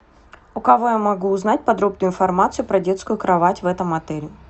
у кого я могу узнать подробную информацию про детскую кровать в этом отеле